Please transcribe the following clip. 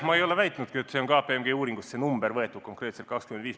Ma ei ole väitnudki, et see 25% on võetud KPMG uuringust.